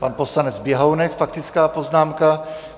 Pan poslanec Běhounek - faktická poznámka.